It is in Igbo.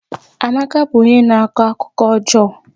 Amaka bụ onye na-akọ akụkọ ọjọọ